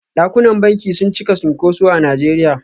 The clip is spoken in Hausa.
Dakunan banki sun cika cunkuso a Najeriya.